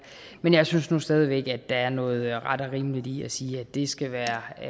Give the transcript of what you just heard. men jeg synes nu stadig væk at der er noget ret og rimeligt i at sige at det skal være